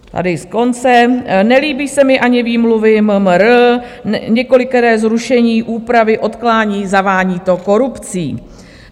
Tady z konce: "Nelíbí se mi ani výmluvy MMR, několikeré zrušení, úpravy, odkládání, zavání to korupcí.